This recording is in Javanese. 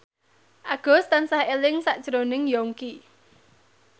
Agus tansah eling sakjroning Yongki